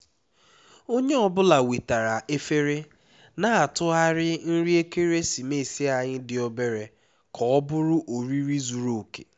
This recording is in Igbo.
onye ọ bụla wetara efere na-atụgharị nri ekeresimesi anyị dị obere ka ọ bụrụ oriri zuru oke